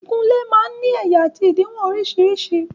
Ìkunlé máa ń ní ẹ̀yà àti òdiwọ̀n orísìírísìí.